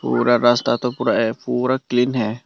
पूरा रास्ता तो पूरा है पूरा क्लीन है।